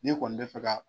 Ne kɔni bɛ fɛ ka